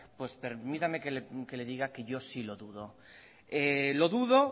pues permítame que le diga que yo sí lo dudo lo dudo